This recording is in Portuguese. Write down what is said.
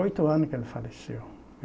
Oito anos que ele faleceu.